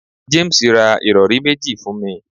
James ra irọri meji fun mi